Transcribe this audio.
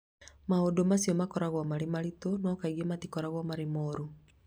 Maũndũ macio makoragwo marĩ maritũ, no kaingĩ matikoragwo marĩ moru.